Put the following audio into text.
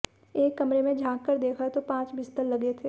एक कमरे में झांक कर देखा तो पांच बिस्तर लगे थे